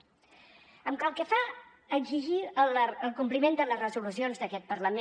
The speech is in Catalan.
pel que fa a exigir el compliment de les resolucions d’aquest parlament